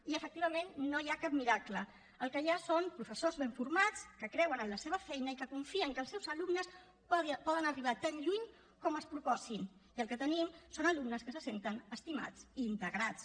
i efectivament no hi ha cap miracle el que hi ha són professors ben formats que creuen en la seva feina i que confien que els seus alumnes poden arribar tan lluny com es proposin i el que tenim són alumnes que se senten estimats i integrats